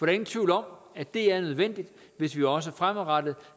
er ingen tvivl om at det er nødvendigt hvis vi også fremadrettet